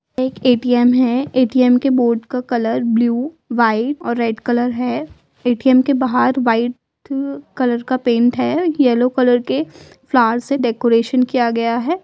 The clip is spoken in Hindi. एक एटीएम है एटीएम का के बोर्ड का कलर ब्लू व्हाइट और रेड कलर है एटीएम के बाहर व्हाइट कलर का पेंट है येलो कलर के फ्लावर से डेकोरेशन किया गया है।